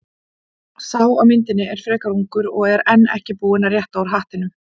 Sá á myndinni er frekar ungur og enn ekki búinn að rétta úr hattinum.